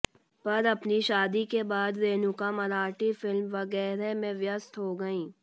पर अपनी शादी के बाद रेणुका मराठी फिल्म वगैरह में व्यस्त हो गई